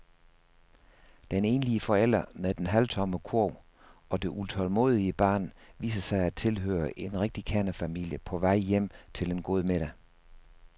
Den enlige forælder med den halvtomme kurv og det utålmodige barn viser sig at tilhøre en rigtig kernefamilie på vej hjem til en god middag.